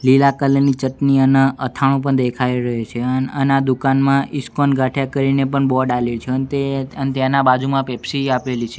લીલા કલર ની ચટની અને અથાણું પણ દેખાય રહ્યું છે અન અને દુકાનમાં ઇસ્કોન ગાંઠિયા કરીને પણ બોર્ડ આલ્યું છે અન તે અન તેના બાજુમાં પેપ્સી આપેલી છે.